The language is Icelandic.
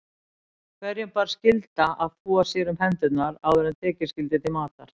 Hverjum bar skylda að þvo sér um hendur áður en tekið skyldi til matar.